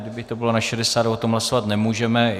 Kdyby to bylo na 60, o tom hlasovat nemůžeme.